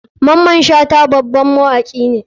Maman shata baban mawaki ne.